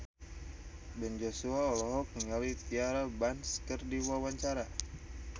Ben Joshua olohok ningali Tyra Banks keur diwawancara